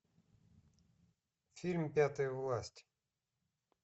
фильм пятая власть